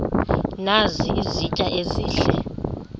nazi izitya ezihle